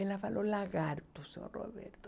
Ela falou lagarto, senhor Roberto.